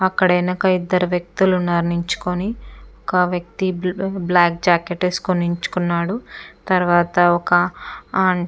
అక్కడ వెనక ఇద్దరు వ్యక్తులు ఉన్నారి నించుకుని ఒక వ్యక్తి బ్లాక్ జాకెట్ వేసుకుని నించుకున్నాడు తర్వాత ఒక --